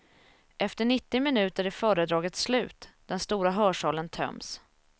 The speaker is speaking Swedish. Efter nittio minuter är föredraget slut, den stora hörsalen töms.